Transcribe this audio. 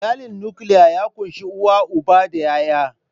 Iyali nukiliya ya kunshi uba, uwa da ƴaƴa.